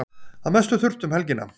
Að mestu þurrt um helgina